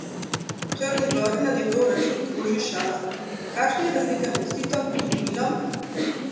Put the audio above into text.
V Črni gori na njegov račun kroži šala: "Kašna je razlika med Titom in Milom?